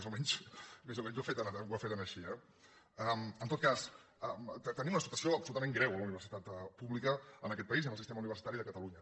més o menys ho ha fet anar així eh en tot cas tenim una situació absolutament greu a la universitat pública en aquest país i en el sistema uni·versitari de catalunya